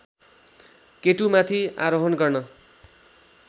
केटुमाथि आरोहण गर्न